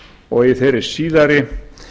og í þeirri síðari